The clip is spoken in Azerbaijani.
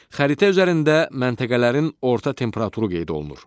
Xəritə üzərində məntəqələrin orta temperaturu qeyd olunur.